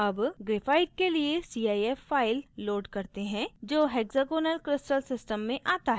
अब graphite के लिए cif file load करते हैं जो hexagonal crystal system में आता है